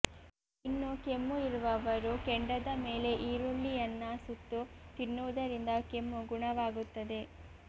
ಇನ್ನು ಕೆಮ್ಮು ಇರುವವರು ಕೆಂಡದ ಮೇಲೆ ಈರುಳ್ಳಿಯನ್ನ ಸುತ್ತು ತಿನ್ನುವುದರಿಂದ ಕೆಮ್ಮು ಗುಣವಾಗುತ್ತದೆ